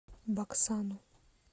баксану